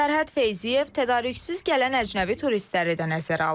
Sərhəd Feyziyev tədarüksüz gələn əcnəbi turistləri də nəzərə alır.